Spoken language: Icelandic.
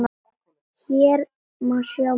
Hér má sjá mótið.